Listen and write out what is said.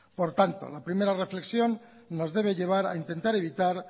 por tanto la primera reflexión nos debe llevar a intentar evitar